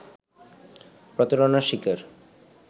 প্রতারণার শিকার